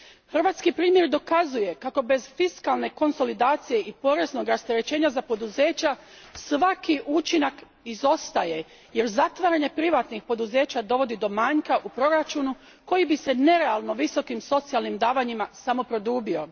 Hrvatski primjer pokazuje kako bez fiskalne konsolidacije i poreznog rasterećenja za poduzeća svaki učinak izostaje, jer zatvaranje privatnih poduzeća dovodi do manjka u proračunu koji bi se nerealno visokim socijalnim davanjima samo produbio.